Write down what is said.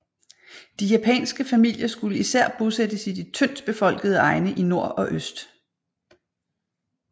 De japanske familier skulle især bosættes i de tyndt befolkede egne i nord og øst